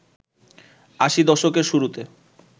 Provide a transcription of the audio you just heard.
আশির দশকের শুরুতে